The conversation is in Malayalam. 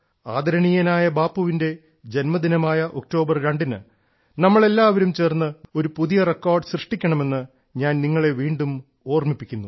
ആദരണീയനായ ബാപ്പുവിന്റെ ജന്മദിനമായ ഒക്ടോബർ രണ്ടിന് നമ്മൾ എല്ലാവരും ചേർന്ന് വീണ്ടും ഒരു പുതിയ റെക്കോർഡ് സൃഷ്ടിക്കണമെന്ന് ഞാൻ നിങ്ങളെ വീണ്ടും ഓർമ്മിപ്പിക്കുന്നു